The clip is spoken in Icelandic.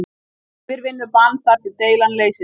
Yfirvinnubann þar til deilan leysist